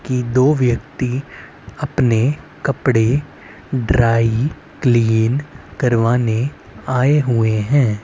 कि दो व्यक्ति अपने कपड़े ड्राई क्लीन करवाने आए हुए हैं।